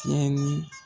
Tiɲɛni